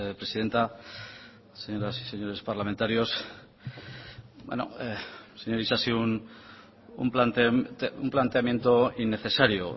presidenta señoras y señores parlamentarios señor isasi un planteamiento innecesario